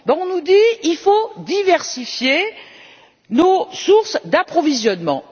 On nous dit qu'il faut diversifier nos sources d'approvisionnement.